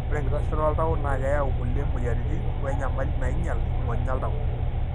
Ore enkitashoto oltau na keyau kulie moyiaritin wenyamali nainyial ingonyo oltau.